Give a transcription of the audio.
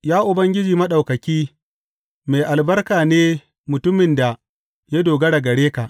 Ya Ubangiji Maɗaukaki, mai albarka ne mutumin da ya dogara gare ka.